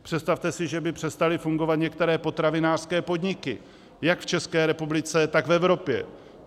Představte si, že by přestaly fungovat některé potravinářské podniky jak v České republice, tak v Evropě.